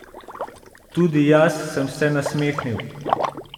Tudi jaz sem se nasmehnil.